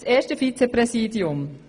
Zum ersten Vizepräsidium.